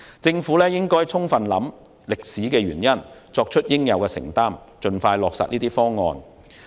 政府應充分考慮歷史原因，作出應有的承擔，盡快落實這些方案。